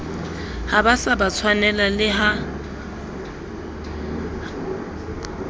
ha ba se ba tshwanelaha